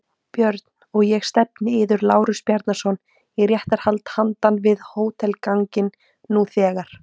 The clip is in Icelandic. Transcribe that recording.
BJÖRN: Og ég stefni yður, Lárus Bjarnason, í réttarhald handan við hótelganginn nú þegar!